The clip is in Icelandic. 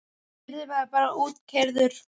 Yrði maður bara útkeyrður?